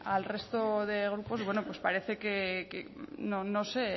al resto de grupos pues parece que no sé